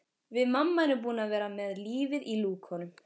Við mamma erum búin að vera með lífið í lúkunum.